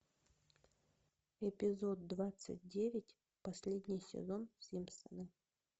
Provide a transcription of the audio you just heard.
эпизод двадцать девять последний сезон симпсоны